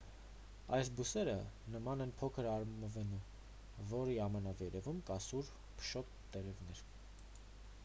այս բույսերը նման են փոքր արմավենու որի ամենավերևում կան սուր փշոտ տերևներ